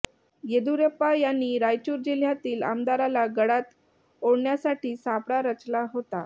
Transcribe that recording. येडियुराप्पा यांनी रायचूर जिल्ह्यातील आमदाराला गळात ओढण्यासाठी सापळा रचला होता